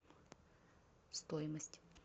стоимость